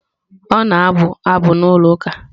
Ọ na-abụ abụ na ụlọ ụka.